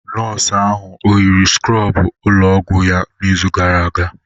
Nọọsụ ahụ ọ yiri skrọbụ ụlọ ọgwụ ya n'izu gara aga?